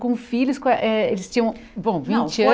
Com filhos, com eh eh eles tinham, bom, vinte